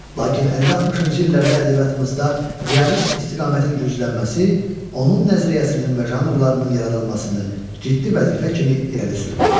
Lakin 50-60-cı illərdə ədəbiyyatımızda realist istiqamətin güclənməsi onun nəzəriyyəsinin və janrlarının yaradılmasını ciddi vəzifə kimi irəli sürürdü.